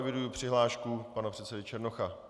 Eviduji přihlášku pana předsedy Černocha.